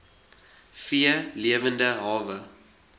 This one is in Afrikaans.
v lewende hawe